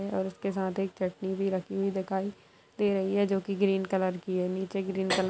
और उसके साथ एक चटनी भी रखी हुई दिखाई दे रही है जो कि ग्रीन कलर की है। नीचे ग्रीन कलर --